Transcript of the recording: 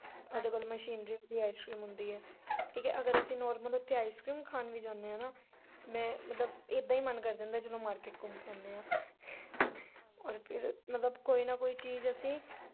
ਸਾਡੇ ਕੋਲ ਮਸ਼ੀਨਰੀ ਵੀ ice-cream ਹੁੰਦੀ ਐ ਠੀਕ ਐ ਅਸੀ ਅਗਰ ਉੱਥੇ normal ਵੀ ਖਾਣ ਜਾਨੇ ਆ ਮੈ ਮਤਲਬ ਏਦਾਂ ਈ ਮਨ ਕਰ ਜਾਂਦਾ ਜਦੋਂ market ਘੁੰਮ ਕੇ ਆਨੇ ਆ ਔਰ ਫਿਰ ਕੋਈ ਨਾ ਕੋਈ ਚੀਜ ਅਸੀਂ।